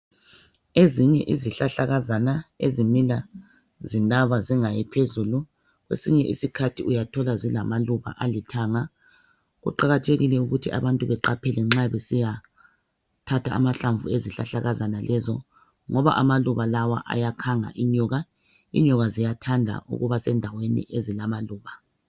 Ezinye izihlahlakazana ezimila zinaba zingayi phezulu, kwesinye isikhathi uyathola zilamaluba alithanga. Kuqakathekile ukuthi abantu beqaphele nxa besiyathatha amahlamvu ezihlahlakazana lezo ngoba amaluba lawa ayakhanga inyoka. Inyoka ziyathanda ukuba sendaweni ezilamaluba.